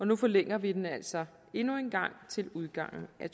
nu forlænger vi den altså endnu en gang til udgangen af